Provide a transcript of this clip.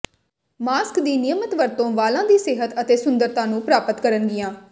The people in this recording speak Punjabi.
ਮਾਸਕ ਦੀ ਨਿਯਮਤ ਵਰਤੋਂ ਵਾਲਾਂ ਦੀ ਸਿਹਤ ਅਤੇ ਸੁੰਦਰਤਾ ਨੂੰ ਪ੍ਰਾਪਤ ਕਰਨਗੀਆਂ